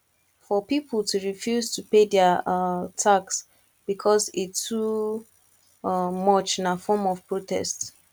for pipo to refuse to pay their um tax because e too um much na form of protest